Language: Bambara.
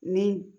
Ni